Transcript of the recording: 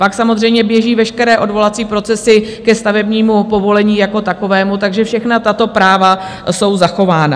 Pak samozřejmě běží veškeré odvolací procesy ke stavebnímu povolení jako takovému, takže všechna tato práva jsou zachována.